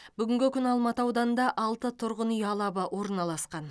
бүгінгі күні алматы ауданында алты тұрғын үй алабы орналасқан